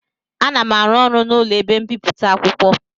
Ana m arụ n'ụlọ ebe mbipụta akwụkwọ